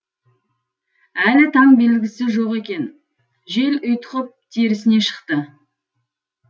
әлі таң белгісі жоқ екен жел ұйтқып терісіне шықты